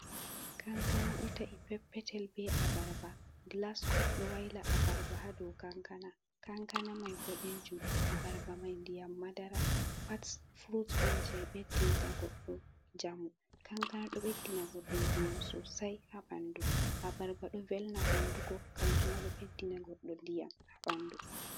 Kankana ɗo ta’i peppetel, be abarba, glaskop ɗo waila abarba haa dou kankana. Kankana mai boɗejum, abarba mai ndiyam madara. Pat fruts on je ɓeddinta goɗɗo njamu. Kankana ɗo ɓeddina goɗɗo ndiyam sosai haa ɓandu. Abarba ɗo velna hundugo, kanjuma ɗo ɓeddina goɗɗo ndiyam haa ɓandu.